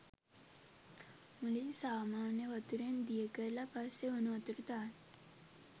මුලින් සාමාන්‍ය වතුරෙන් දියකරල පස්සෙ උනු වතුර දාන්න.